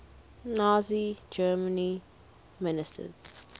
nazi germany ministers